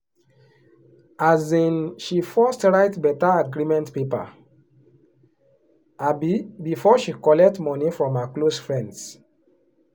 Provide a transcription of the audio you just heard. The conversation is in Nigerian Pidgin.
um she first write better agreement paper um before she collect money from her close friends.